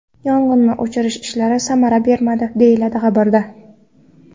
Yong‘inni o‘chirish ishlari samara bermadi”, deyiladi xabarda.